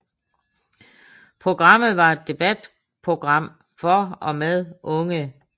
Programmet var et debatprogram for og med unge